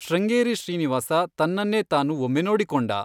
ಶೃಂಗೇರಿ ಶ್ರೀನಿವಾಸ ತನ್ನನ್ನೇ ತಾನು ಒಮ್ಮೆ ನೋಡಿಕೊಂಡ.